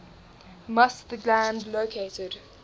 musth gland located